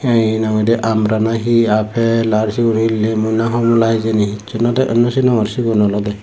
ee henang hoide umbra na hi aaple aar siyun he limbo na homola hejini hissu no de sinongor siyun olode.